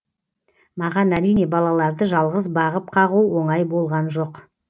маған әрине балаларды жалғыз бағып қағу оңай болған жоқ